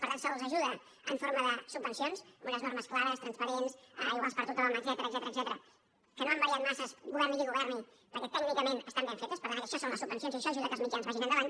per tant se’ls ajuda en forma de subvencions amb unes normes clares transparents iguals per a tothom etcètera que no han variat massa governi qui governi perquè tècnicament estan ben fetes per tant això són les subvencions i això ajuda a que els mitjans vagin endavant